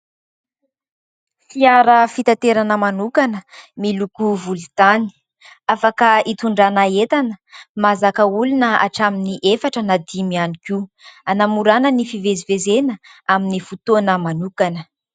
Fiara fitaterana manokana miloko volontany, afaka hitondrana entana. Mahazaka olona hatramin'ny efatra na dimy iany koa anamorana ny fivezivezena amin'ny fotoana manokana.